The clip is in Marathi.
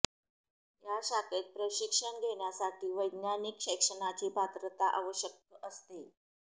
या शाखेत प्रशिक्षण घेण्यासाठी वैज्ञानिक शैक्षणाची पात्रता आवश्यक असते